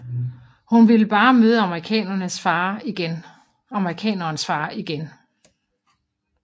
Hun ville bare møde amerikanerens far igen